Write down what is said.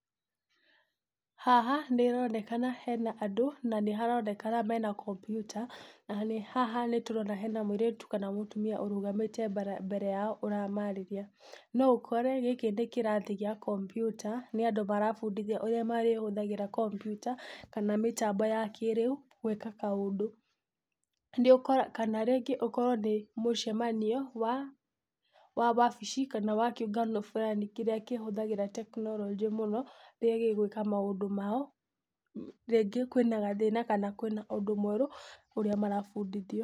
Haha nĩ haronekana hena andũ na nĩ haronekana mena kompiuta na haha nĩ tũrona hena mũirĩtu kana mũtumia ũrugamite mbere yao ũramarĩria. No ũkore gikĩ nĩ kĩrathi gĩa kompiuta nĩ andũ marabundithia ũrĩa marĩhũthagĩra kompiuta kana mĩtambo ya kĩrĩu gwĩka kaũndũ. Kana rĩngĩ ũkorwo nĩ mũcemanio wa wabici kana kĩũngano burani kĩrĩa kĩhũthagĩra tekinoronjĩ mũno rĩrĩa gĩgwĩka maũndũ mao, rĩngĩ kwĩ na gathĩna, kana kwĩ na ũndũ mwerũ ũrĩa marabundithia.